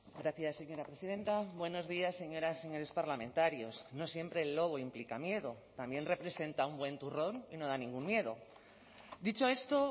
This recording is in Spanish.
gracias señora presidenta buenos días señoras señores parlamentarios no siempre el lobo implica miedo también representa un buen turrón y no da ningún miedo dicho esto